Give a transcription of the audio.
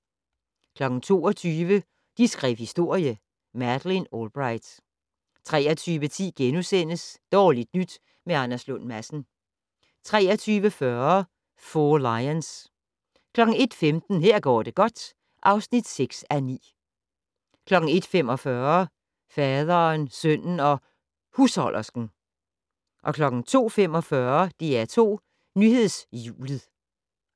22:00: De skrev historie: Madeleine Albright 23:10: Dårligt nyt med Anders Lund Madsen * 23:40: Four Lions 01:15: Her går det godt (6:9) 01:45: Faderen, sønnen og husholdersken 02:45: DR2 Nyhedshjulet